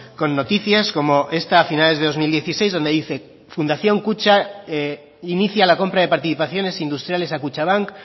con noticias como esta a finales de dos mil dieciséis donde dice fundación kutxa inicia la compra de participaciones industriales a kutxabank